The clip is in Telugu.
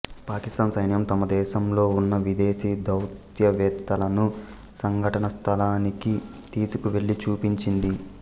పాకిస్తాన్ సైన్యం తమ దేశంలో ఉన్న విదేశీ దౌత్యవేత్తలను సంఘటన స్థలానికి తీసుకువెళ్ళి చూపించింది